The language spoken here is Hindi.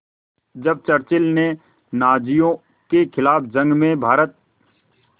जब चर्चिल ने नाज़ियों के ख़िलाफ़ जंग में भारत